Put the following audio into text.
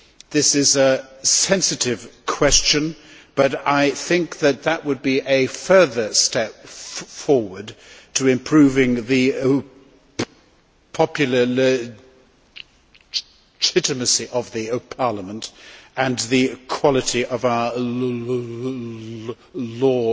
This is a sensitive question, but I think that it would be a further step forward in improving the popular legitimacy of Parliament and the quality of our law